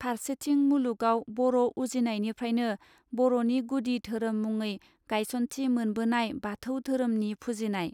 फार्सेथिं मुलुगाव बर उजिनायनिफ्रायनो बरनि गुदि धोरोम मुङै गायसनथि मोनबोनाय बाथौ धोरोमनि फुजिनाय.